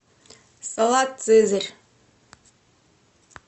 салат цезарь